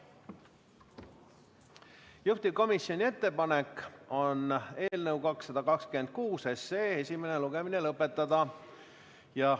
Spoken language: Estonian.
Juhtivkomisjoni ettepanek on eelnõu 226 esimene lugemine lõpetada.